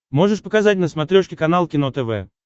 можешь показать на смотрешке канал кино тв